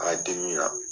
A dimi na